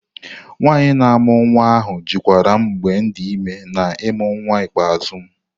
Nwanyị na-amụ nwa ahu jikwaram mgbem di ime na ịmụ nwam ikpeazụ.